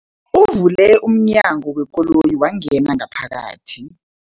Uvule umnyango wekoloyi wangena ngaphakathi.